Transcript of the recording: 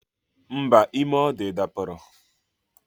Mba, ime ọ dị dapụrụ